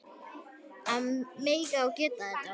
Að mega og geta þetta.